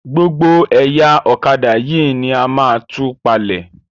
Gbogbo ẹ̀yà ọ̀kadà yìí ní a máa tú palm.